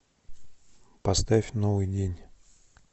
поставь новый день